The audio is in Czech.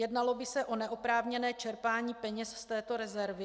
Jednalo by se o neoprávněné čerpání peněz z této rezervy?